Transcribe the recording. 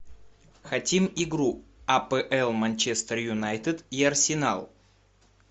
хотим игру апл манчестер юнайтед и арсенал